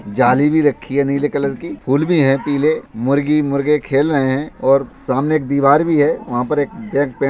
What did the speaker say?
जाली भी रखी है नीले कलर की। फूल भी हैं पीले। मुर्गी मुर्गे खेल रहें हैं और सामने एक दीवार भी है। वहाँ पर एक --